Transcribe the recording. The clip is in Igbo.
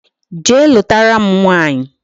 Jee lutara m nwaanyi